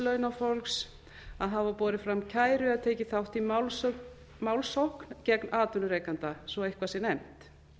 launafólks að hafa borið fram kæru eða tekið þátt í málssókn gegn atvinnurekanda svo eitthvað sé nefnt